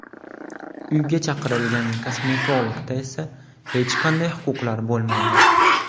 Uyga chaqirilgan kosmetologda esa hech qanday huquqlar bo‘lmaydi.